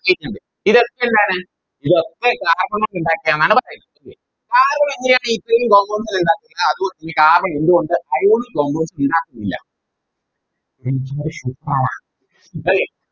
ഇതൊക്കെന്താണ് ഇതൊക്കെ Carbon കൊണ്ടിണ്ടാക്കിയെന്നാണ് പറയുന്നത് ല്ലേ carbon എങ്ങനെയാണ് ഇത്രേം compounds നെ ഇണ്ടാക്കിയത് അതുപോലെ Carbon എന്തുകൊണ്ട് Ionic bond ഉണ്ടാക്കുന്നില്ല Okay